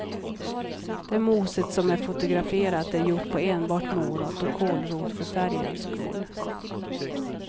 Det moset som är fotograferat är gjort på enbart morot och kålrot för färgens skull.